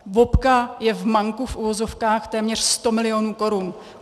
VOPka je v manku - v uvozovkách - téměř 100 milionů korun.